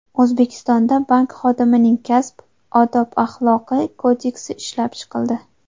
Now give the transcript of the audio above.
O‘zbekistonda Bank xodimining kasb odob-axloqi kodeksi ishlab chiqildi.